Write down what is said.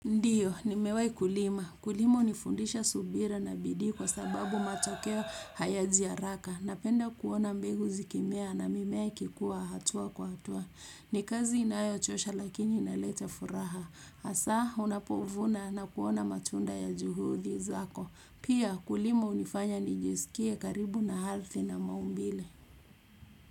Ndiyo, nimewahi kulima. Kulima hunifundisha subira na bidii kwa sababu matokeo hayaji haraka. Napenda kuona mbegu zikimea na mimea ikuwa hatua kwa hatua. Ni kazi inayochosha lakini inaleta furaha. Hasa, unapovuna na kuona matunda ya juhudi zako. Pia, kulima hunifanya nijisikie karibu na ardhi na maumbile.